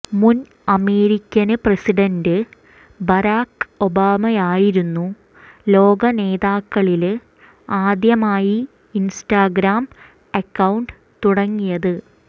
മുന് American president Barack ഒബാമയായിരുന്നു ലോകനേതാക്കളില് ആദ്യമായി ഇന്സ്റ്റഗ്രാം അക്കൌണ്ട് തുടങ്ങിയത്